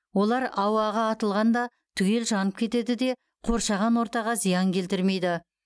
олар ауаға атылғанда түгел жанып кетеді де қоршаған ортаға зиян келтірмейді